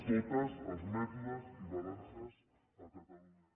tots els mètodes i balances a catalunya